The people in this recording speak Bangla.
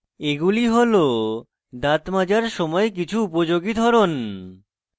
এগুলি হল দাঁত মাজার সময় কিছু উপযোগী ধরন